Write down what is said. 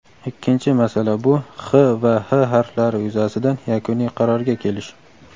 Ikkinchi masala bu x va h harflari yuzasidan yakuniy qarorga kelish.